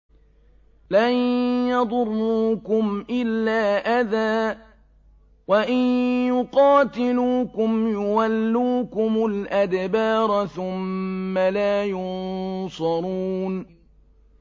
لَن يَضُرُّوكُمْ إِلَّا أَذًى ۖ وَإِن يُقَاتِلُوكُمْ يُوَلُّوكُمُ الْأَدْبَارَ ثُمَّ لَا يُنصَرُونَ